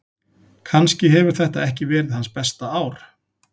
Kannski hefur þetta ekki verið hans besta ár.